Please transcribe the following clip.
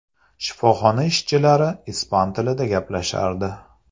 Shifoxona ishchilari ispan tilida gaplashardi.